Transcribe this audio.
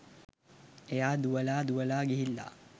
එයා දුවලා දුවලා ගිහිල්ලා